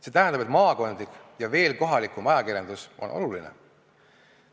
See tähendab, et maakondlik ja veel kohalikum ajakirjandus on oluline.